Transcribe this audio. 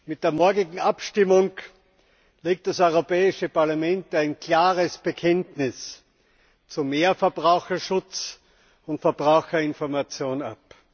Mit der morgigen Abstimmung legt das Europäische Parlament ein klares Bekenntnis für mehr Verbraucherschutz und Verbraucherinformation ab.